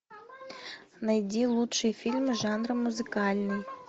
найди лучшие фильмы жанра музыкальный